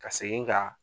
Ka segin ka